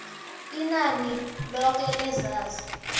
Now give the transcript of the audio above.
inani loke lezazi